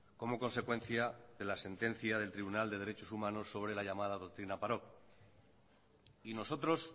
como consecuencia de la sentencia del tribunal de derechos humanos sobre la llamada doctrina parot y nosotros